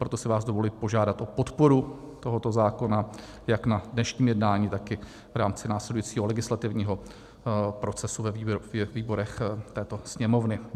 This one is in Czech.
Proto si vás dovoluji požádat o podporu tohoto zákona jak na dnešním jednání, tak i v rámci následujícího legislativního procesu ve výborech této Sněmovny.